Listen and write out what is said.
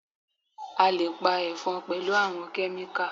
A lè pa Ẹ̀fọn pẹ̀lú àwọn Kẹ́míkà